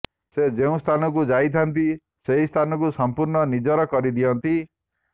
ସେ ଯେଉଁ ସ୍ଥାନକୁ ଯାଇଥାନ୍ତି ସେହି ସ୍ଥାନକୁ ସମ୍ପୂର୍ଣ୍ଣ ନିଜର କରିଦିଅନ୍ତି